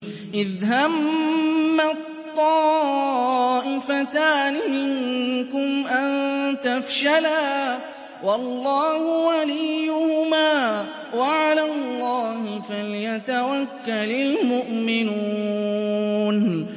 إِذْ هَمَّت طَّائِفَتَانِ مِنكُمْ أَن تَفْشَلَا وَاللَّهُ وَلِيُّهُمَا ۗ وَعَلَى اللَّهِ فَلْيَتَوَكَّلِ الْمُؤْمِنُونَ